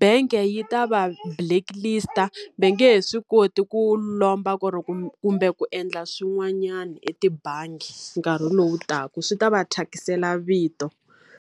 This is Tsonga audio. bangi yi ta va blacklist-a. Va nge he swi koti ku lomba ku ri kumbe ku endla swin'wanyana etibangi nkarhi lowu taka. Swi ta va thyakisela vito.